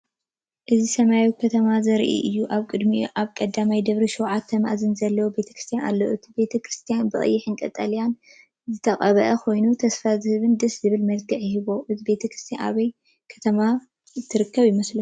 ኣብዚ ሰማይ ከተማ ዘርኢ እዩ። ኣብ ቅድሚኡ ኣብ ቀዳማይ ደርቢ ሸውዓተ መኣዝን ዘለዎ ቤተክርስትያን ኣሎ። እቲ ቤተክርስትያን ብቐይሕን ቀጠልያን ዝተቐብአ ኮይኑ፡ ተስፋ ዝህብን ደስ ዘብልን መልክዕ ይህቦ። እዛ ቤተ ክርስቲያን ኣበይ ከም እትርከብ ትፈልጡ ዶ?